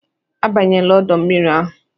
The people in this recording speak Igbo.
"Abanyela ọdọ mmiri ahụ"